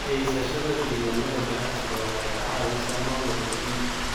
Haysashada diiwaannada ganacsiga waxay ka caawisaa maamulka iibka.